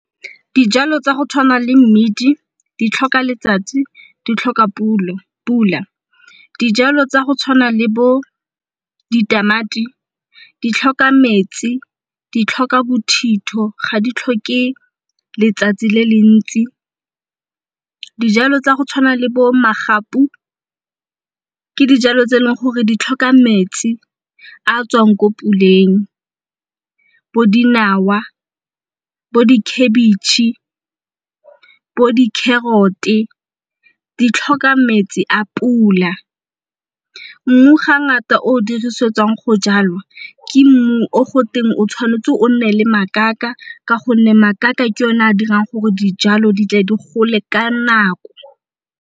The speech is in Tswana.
Dijalo tsa go tshwana le mmidi di tlhoka letsatsi, di tlhoka pula dijalo tsa go tshwana le bo ditamati, di tlhoka metsi, di tlhoka bothitho, ga di tlhoke letsatsi le le ntsi dijalo tsa go tshwana le bo magapu ke dijalo tse e leng gore di tlhoka metsi a tswang ko puleng. Bo dinawa, bo di khabitšhe bo di carrot-e, di tlhoka metsi a pula mmu ga ngata o dirisetswang go jalwa ke mmu o go teng o tshwanetse o nne le makaka ka gonne makaka ke yone a dirang gore dijalo di tle di gole ka nako.